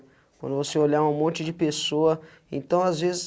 Quando você olhar um monte de pessoa, então, às vezes,